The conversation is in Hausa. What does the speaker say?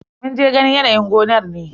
Mun je ganin yanayin gonar ne.